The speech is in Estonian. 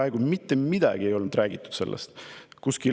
Sellest ei räägitud peaaegu mitte midagi.